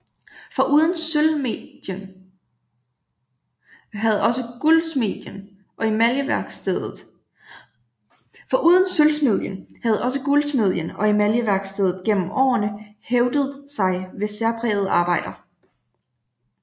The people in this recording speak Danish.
Foruden sølvsmedien havde også guldsmedien og emaljeværkstedet gennem årene hævdet sig ved særprægede arbejder